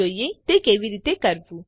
ચાલો જોઈએ તે કેવી રીતે કરવું